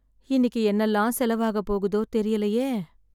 இன்னிக்கி என்னெல்லாம் செலவு ஆக போகுதோ, தெரியலயே